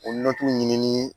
O ɲini